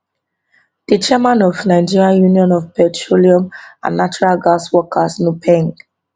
di chairman of nigeria union of petroleum and natural gas workers nupeng